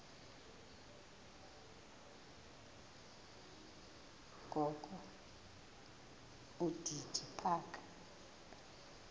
kokho udidi phaka